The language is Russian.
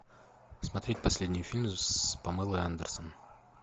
смотреть последний фильм с памелой андерсон